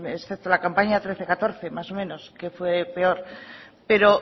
excepto la campaña trece catorce más o menos que fue peor pero